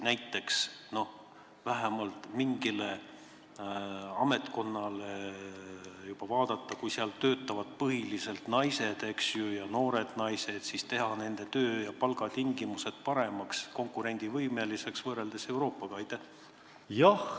Näiteks võiks ehk vähemalt mingis ametkonnas, kus töötavad põhiliselt naised, sh noored naised, teha töö- ja palgatingimused paremaks, konkurentsivõimeliseks muu Euroopaga?